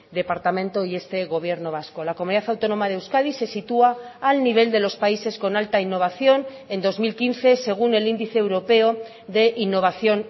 departamento y este gobierno vasco la comunidad autónoma de euskadi se sitúa al nivel de los países con alta innovación en dos mil quince según el índice europeo de innovación